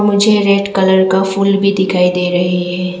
मुझे red colour का फूल भी दिखाई दे रही है।